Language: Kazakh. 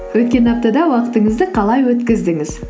өткен аптада уақытыңызды қалай өткіздіңіз